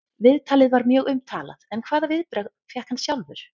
Viðtalið var mjög umtalað en hvaða viðbrögð fékk hann sjálfur?